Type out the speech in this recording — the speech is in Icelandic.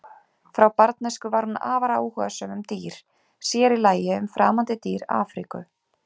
Frá barnæsku var hún afar áhugasöm um dýr, sér í lagi um framandi dýr Afríku.